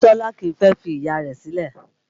Bisola kìí fẹ́ fi Ìyá rẹ̀ sílẹ̀